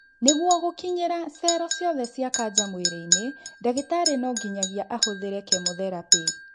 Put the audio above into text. Nĩguo gũkinyĩra cero ciothe cia kanja mwĩrĩ-inĩ ndagĩtarĩ no nginyagia ahũthĩre kemotherapĩ